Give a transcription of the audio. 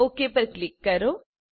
okay ઉપર click કરો